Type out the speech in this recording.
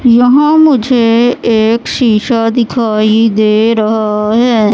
यहां मुझे एक शीशा दिखाई दे रहा है।